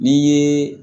N'i ye